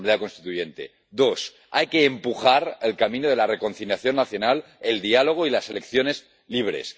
Segundo, hay que impulsar el camino de la reconciliación nacional, el diálogo y las elecciones libres.